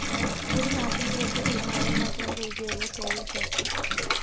ഒരുനാട്ടിന്‍ പുറത്ത് ഒരുനേരം മാത്രം പൂജയുള്ള ചെറിയക്ഷേത്രം